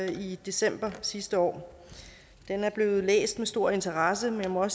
i december sidste år den er blevet læst med stor interesse men jeg må